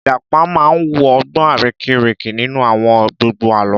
Ìjàpá máa wu ọgbọ́n arérekè nínú àwọn gbogbo Àlọ́